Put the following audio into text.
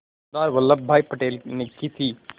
सरदार Vallabhbhai Patel ने की थी